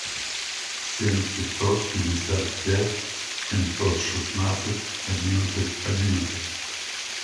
семь пятьсот пятьдесят пять семьсот шестнадцать одиннадцать одиннадцать